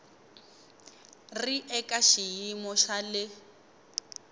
ri eka xiyimo xa le